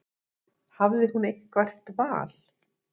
Hafði hún eitthvert val?